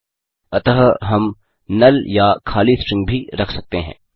अतः हम नल या खाली स्ट्रिंग भी रख सकते हैं